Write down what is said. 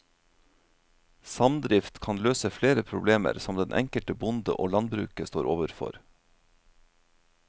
Samdrift kan løse flere problemer som den enkelte bonde og landbruket står overfor.